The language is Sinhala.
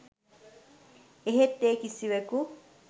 එහෙත් ඒ කිසිවෙකු